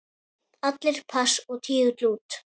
Allir pass og tígull út!